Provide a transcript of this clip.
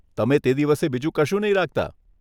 તમે તે દિવસે બીજું કશું નહીં રાખતા.